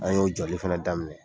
An y'o jɔli fɛnɛ daminɛ.